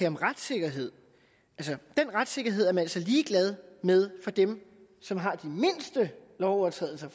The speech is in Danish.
om retssikkerhed den retssikkerhed er man altså ligeglad med for dem som har de mindste lovovertrædelser